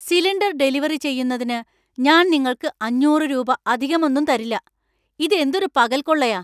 Cylinder delivery ചെയ്യുന്നതിന് ഞാൻ നിങ്ങൾക്ക് അഞ്ഞൂറ് രൂപ അധികമൊന്നും തരില്ല. ഇത് എന്തൊരു പകൽക്കൊള്ളയാ !